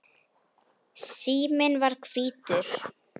Síminn var hvítur.